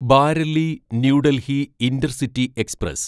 Bareilly New Delhi intercity express